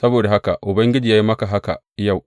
Saboda haka Ubangiji ya yi maka haka yau.